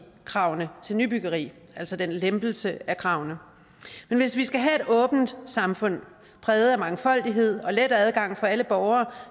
kravene til nybyggeri altså den lempelse af kravene men hvis vi skal have et åbent samfund præget af mangfoldighed og let adgang for alle borgere